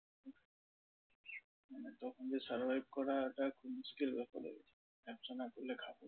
তখন নিজের survive করাটা খুবই মুশকিল ব্যাপার হয়ে গেছিলো। ব্যবসা না করলে